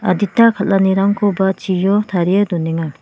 adita kal·anirangkoba chio tarie donenga.